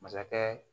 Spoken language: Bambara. Masakɛ